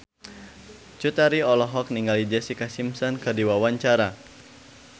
Cut Tari olohok ningali Jessica Simpson keur diwawancara